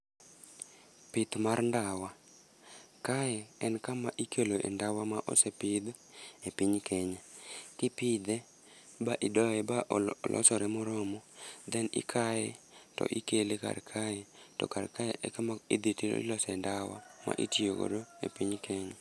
Pith mar ndawa. Kae en kama ikeloe e ndawa ma osepidh, e piny Kenya. To ipidhe ba idoye, ba olosore moromo. Then ikaye, to ikele kar kae, to kar kae e kama idhi to ilose ndawa ma itiyo godo e piny Kenya.